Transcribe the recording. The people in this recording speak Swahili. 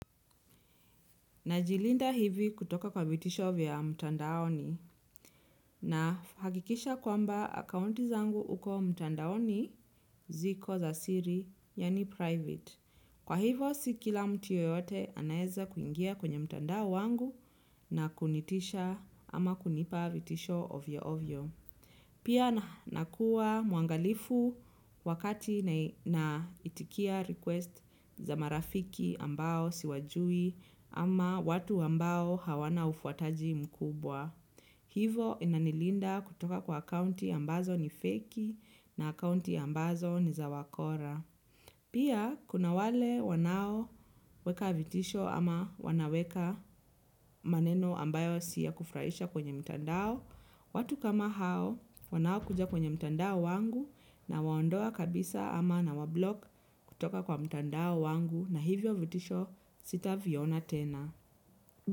Najilinda hivi kutoka kwa vitisho vya mtandaoni na hakikisha kwamba akaunti zangu huko mtandaoni ziko za siri, yaani private. Kwa hivyo, si kila mtu yeyote anaweza kuingia kwenye mtandao wangu na kunitisha ama kunipa vitisho ovyoovyo. Pia nakuwa mwangalifu wakati na itikia request za marafiki ambao siwajui ama watu ambao hawana ufuataji mkubwa. Hivo inanilinda kutoka kwa akaunti ambazo ni feki na akaunti ambazo ni za wakora. Pia kuna wale wanaoweka vitisho ama wanaweka maneno ambayo si ya kufurahisha kwenye mtandao. Watu kama hao wanaokuja kwenye mtandao wangu nawaondoa kabisa ama nawablock kutoka kwa mtandao wangu na hivyo vitisho sitaviona tena.